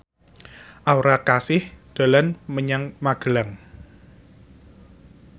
Aura Kasih dolan menyang Magelang